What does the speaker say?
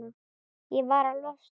Ég varð að losna.